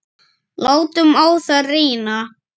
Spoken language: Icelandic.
Látum á það reyna.